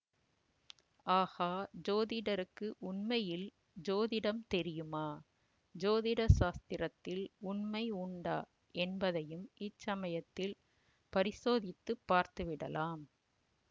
ஆகா ஜோதிடருக்கு உண்மையில் ஜோதிடம் தெரியுமா ஜோதிட சாஸ்திரத்தில் உண்மை உண்டா என்பதையும் இச்சமயத்தில் பரிசோதித்துப் பார்த்து விடலாம்